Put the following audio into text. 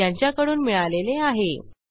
यासंबंधी माहिती पुढील साईटवर उपलब्ध आहे